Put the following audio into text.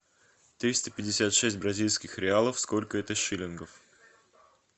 триста пятьдесят шесть бразильских реалов сколько это шиллингов